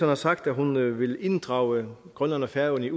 har sagt at hun vil inddrage grønland og færøerne